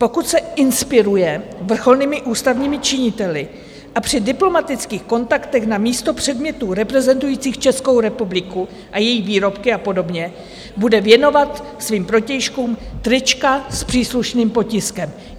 Pokud se inspiruje vrcholnými ústavními činiteli a při diplomatických kontaktech na místo předmětů reprezentujících Českou republiku a její výrobky a podobně, bude věnovat svým protějškům trička s příslušným potiskem.